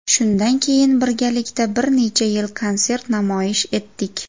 Shundan keyin birgalikda bir necha yil konsert namoyish etdik.